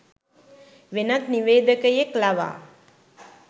වෙනත් නිවේදකයෙක් ලවා